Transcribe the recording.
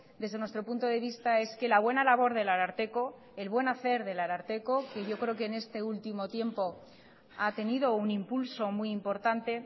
desde nuestro punto de vista es que la buena labor del ararteko el buen hacer del ararteko que yo creo que en este último tiempo ha tenido un impulso muy importante